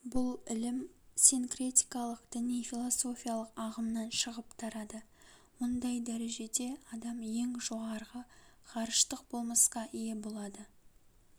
бұл ілім синкретикалык діни-философиялық ағымнан шығып тарады ондай дәрежеде адам ең жоғарғы ғарыштық болмыска ие болады